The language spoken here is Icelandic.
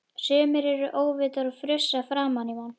Sumir eru óvitar og frussa framan í mann!